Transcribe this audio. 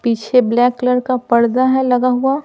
पीछे black colour का पर्दा है लगा हुआ ।